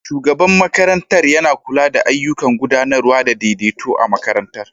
Shugaban makarantar yana kula da ayyukan gudanarwa da daidaito a makarantar